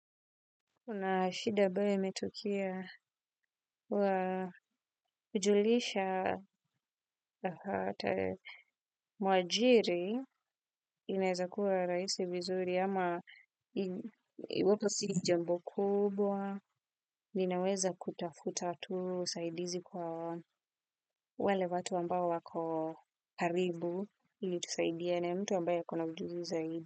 Kuna shida abayo imetukia wa kujulisha mwajiri inaweza kuwa raisi vizuri ama iwapo si jambo kubwa. Ninaweza kutafuta tu usaidizi kwa wale watu ambao wako karibu ili tusaidiane mtu ambaye yuko na ujuzi zaidi.